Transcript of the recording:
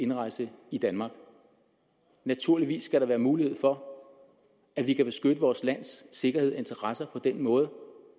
indrejse i danmark naturligvis skal der være mulighed for at vi kan beskytte vores lands sikkerhed og interesser på den måde